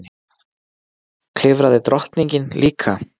Klifraði drottningin líka?